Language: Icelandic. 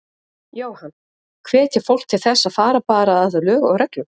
Jóhann: Hvetja fólk til þess að fara bara að lög og reglum?